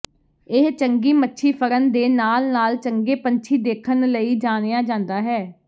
ਇਹ ਚੰਗੀ ਮੱਛੀ ਫੜਨ ਦੇ ਨਾਲ ਨਾਲ ਚੰਗੇ ਪੰਛੀ ਦੇਖਣ ਲਈ ਜਾਣਿਆ ਜਾਂਦਾ ਹੈ